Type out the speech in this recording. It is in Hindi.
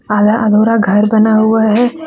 आधा अधूरा घर बना हुआ है।